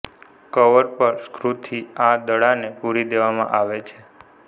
cover પર સ્કૂથી આ દડાને પૂરી દેવામાં આવે છે